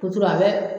a bɛ